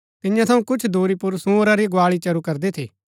तियां थऊँ कुछ दूरी पुर सूअंरा री गुआली चरू करदी थी